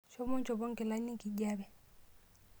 Shomo inchopo nkilani enkijape.